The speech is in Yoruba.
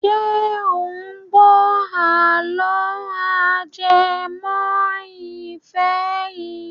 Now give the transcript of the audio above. Ṣé ò ń gbọ́ àlọ́ ajẹmọ́ ìfẹ́ yìí.